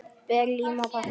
Ber lím á pappír.